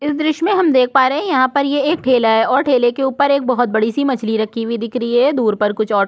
इस दृश्य में हम देख पा रहे है यहाँ पर ये एक ठेला है और ठेले के ऊपर एक बहुत बड़ी- सी मछली रखी हुई दिख रही है दूर पर कुछ ऑटो --